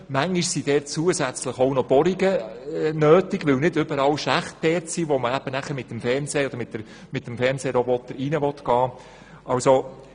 Manchmal sind dort zusätzlich auch noch Bohrungen notwendig, weil nicht überall dort Schächte sind, wo man mit dem Fernsehroboter hineingehen will.